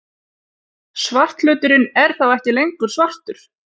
Svarthluturinn er þá ekki lengur svartur!